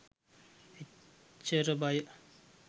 එච්චර බය.